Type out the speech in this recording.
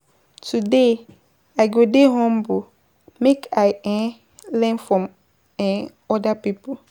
Today, I go dey humble make I um learn from um oda pipo.